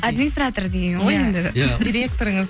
администратор дегенім директорыңыз